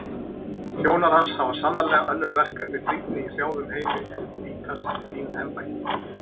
Þjónar hans hafa sannarlega önnur verkefni brýnni í hrjáðum heimi en bítast um fín embætti.